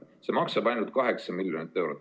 See meede maksab ainult 8 miljonit eurot.